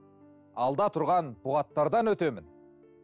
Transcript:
алда тұрған бұғаттардан өтемін